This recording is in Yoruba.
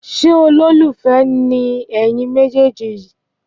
Ṣé ọlolufe ni ẹyin me je ji